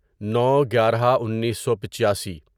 نو گیارہ انیسو پچیاسی